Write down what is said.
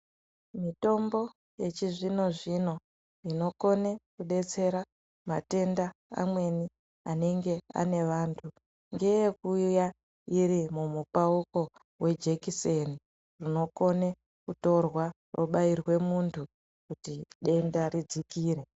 Mitombo yechizvino-zvino inokone kudetsera matenda amweni anenge ane vantu. Ngeyekuuya iri mumupauko wejekiseni rinokone kutorwa robairwe muntu kuti denda ridzikire.